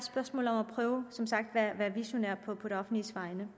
som sagt at prøve at være visionær på det offentliges vegne